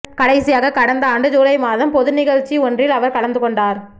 கடைசியாக கடந்த ஆண்டு யூலை மாதம் பொதுநிகழ்ச்சி ஒன்றில் அவர் கலந்துகொண்டார்